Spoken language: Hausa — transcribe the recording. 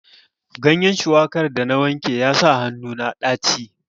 Ganyen shuwakar da na wanke ya sa hannu na ɗaci.